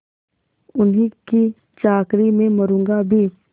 उन्हीं की चाकरी में मरुँगा भी